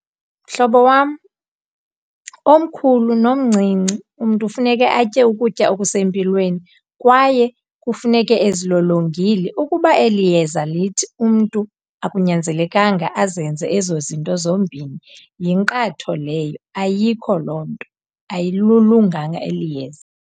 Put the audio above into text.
Mhlobo wam, omkhulu nomncinci umntu funeke atye ukutya okusempilweni kwaye kufuneke ezilolongile. Ukuba eli yeza lithi umntu akunyanzelekanga azenze ezo zinto zombini yinkqatho leyo, ayikho loo nto. Ayilulunganga eli yeza.